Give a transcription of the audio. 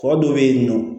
Kɔ dɔ bɛ yen nɔ